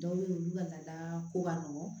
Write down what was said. Dɔw bɛ yen olu ka lada ko ka nɔgɔn